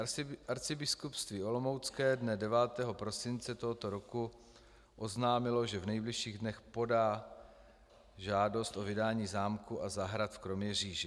Arcibiskupství olomoucké dne 9. prosince tohoto roku oznámilo, že v nejbližších dnech podá žádost o vydání zámku a zahrad v Kroměříži.